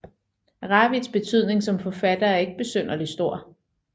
Ravits betydning som forfatter er ikke synderlig stor